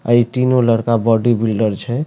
अए तीनो लड़का बॉडी बिल्डर छै।